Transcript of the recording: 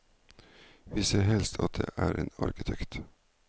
Vi ser helst at det er en arkitekt.